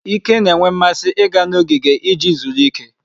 Ike na-enwe mmasị ịga ogige iji zuru ike.